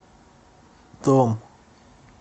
дом